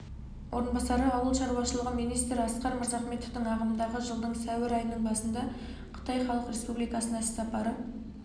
орынбасары ауыл шаруашылығы министрі асқар мырзахметовтің ағымдағы жылдың сәуір айының басында қытай халық республикасына іссапары